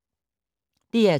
DR2